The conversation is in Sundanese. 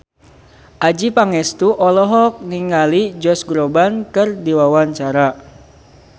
Adjie Pangestu olohok ningali Josh Groban keur diwawancara